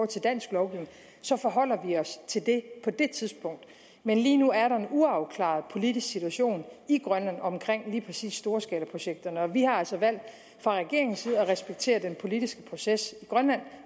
til dansk lovgivning så forholder vi os til det på det tidspunkt men lige nu er der en uafklaret politisk situation i grønland omkring lige præcis storskalaprojekterne og vi har altså fra regeringens side valgt at respektere den politiske proces i grønland